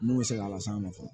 Mun bɛ se k'a las'a ma fɔlɔ